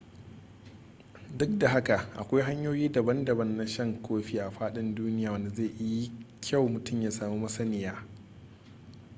duk da haka akwai hanyoyi daban-daban na shan kofi a faɗin duniya wanda zai yi kyau mutum ya samu masaniya